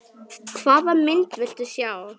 Hvaða mynd viltu sjá?